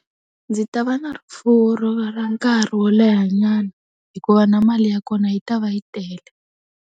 Ndzi ta va na rifuwo ro va ra nkarhi wo leha nyana hikuva na mali ya kona yi ta va yi tele.